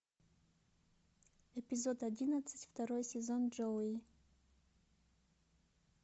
эпизод одиннадцать второй сезон джоуи